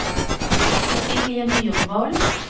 Cecilie Myrvold